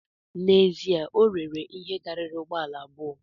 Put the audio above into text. N’ezie, o rere ihe karịrị ụgbọ ala abụọ